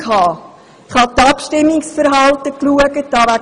Ich habe das Abstimmungsverhalten von damals angeschaut.